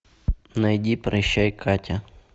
найди прощай катя